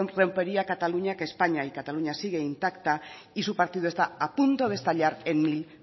se rompería cataluña que españa y cataluña sigue intacta y su partido está a punto de estallar en mil